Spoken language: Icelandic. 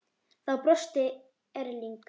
Þá brosti Erling.